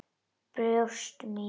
Brjóst mín.